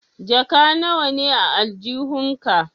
Jaka nawa ne a aljihun ka?